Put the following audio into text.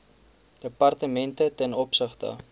departemente ten opsigte